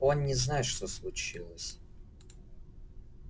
он не знает что случилось